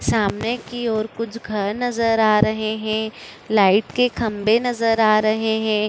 सामने की ओर कुछ घर नजर आ रहे है लाइट के खंभे नजर आ रहे है।